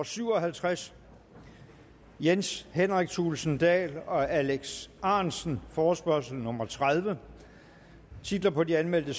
syv og halvtreds jens henrik thulesen dahl og alex ahrendtsen forespørgsel nummer f tredive titlerne på de anmeldte